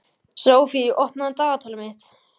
Sophie, opnaðu dagatalið mitt.